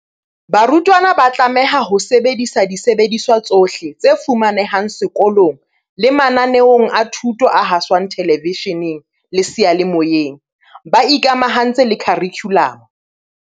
Barutwana ba tlameha ho sebedisa disebediswa tsohle tse fumanehang seko long le mananeong a thuto a haswang thelevishe neng le seyalemoyeng, ba ikamahantse le kharikhu lamo.